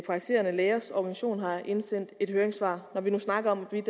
praktiserende lægers organisation har indsendt et høringssvar vi snakker jo